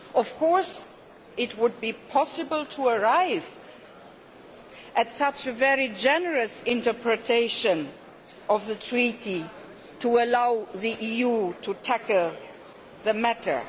Of course, it would be possible to arrive at such a very generous interpretation of the Treaty, to allow the EU to tackle the matter.